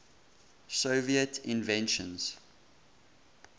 soviet inventions